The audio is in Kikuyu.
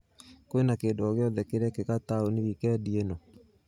Kwĩna kĩndũ o gĩothe kĩrekĩka taũni wikendi ĩno ?